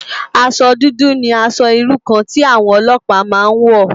Aṣò dùdù ni ãṣò irú kàn ti áwòn òlòpá má n wò